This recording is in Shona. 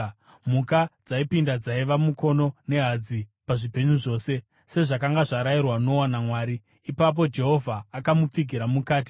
Mhuka dzaipinda dzaiva mukono nehadzi pazvipenyu zvose, sezvakanga zvarayirwa Noa naMwari. Ipapo Jehovha akamupfigira mukati.